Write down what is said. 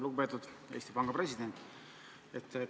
Lugupeetud Eesti Panga president!